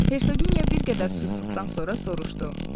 Hersoginya bir qədər susduqdan sonra soruşdu.